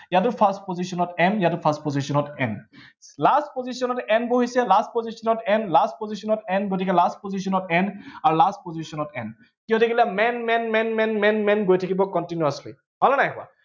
ইয়াতো first position ত m ইয়াতো first position ত m । last position ত n বহিছে, last position ত n, last position ত n, last position ত n, গতিকে last position ত n আৰু last position ত n কি হৈ থাকিলে, man man man man man man man গৈ থাকিব continuously হল নে নাই হোৱা।